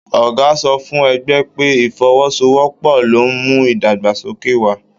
Ọgá sọ fún ẹgbẹ pé, ifọ́wọ́sowọ́pọ̀ lo n mú ìdàgbàsókè wà.